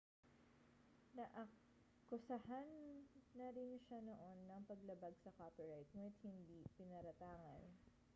naakusahan na rin siya noon ng paglabag sa copyright ngunit hindi pinaratangan